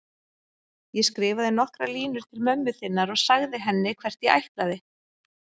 Ég skrifaði nokkrar línur til mömmu þinnar og sagði henni hvert ég ætlaði.